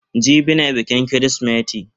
Gini ne bikin kirismeti.